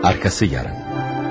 Ardı var.